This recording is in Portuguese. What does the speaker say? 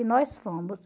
E nós fomos.